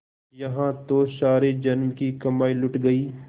यहाँ तो सारे जन्म की कमाई लुट गयी